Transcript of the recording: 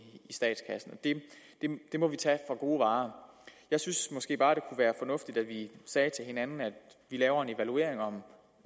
statskassen det må vi tage for gode varer jeg synes måske bare at det kunne være fornuftigt at vi sagde til hinanden at vi laver en evaluering om